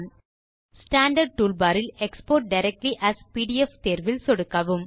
standard toolbar இல் export directly as PDF தேர்வில் சொடுக்கவும்